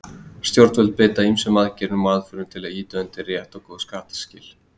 Stjórnvöld beita ýmsum aðgerðum og aðferðum til að ýta undir rétt og góð skattskil.